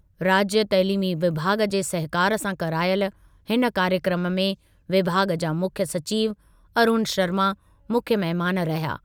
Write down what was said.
राज्यु तइलीमी विभाॻ जे सहकारु सां करायलि हिन कार्यक्रमु में विभाॻ जा मुख्यु सचिव अरूण शर्मा मुख्य महिमानि रहिया।